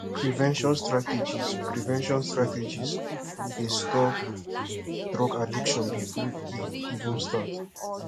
prevention strategies prevention strategies dey stop drug addiction before e even start